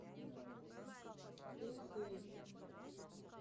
уху